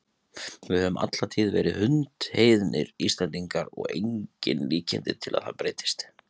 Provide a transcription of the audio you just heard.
Við höfum alla tíð verið hundheiðnir, Íslendingar, og engin líkindi til að það breytist.